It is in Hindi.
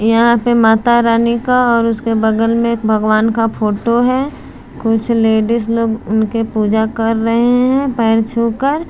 यहाँ पे माता रानी का और उसके बगल में एक भगवान का फोटो है कुछ लेडिज लोग उनके पूजा कर रहे हैं पैर छू कर--